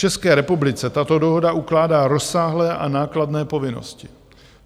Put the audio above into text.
České republice tato dohoda ukládá rozsáhlé a nákladné povinnosti.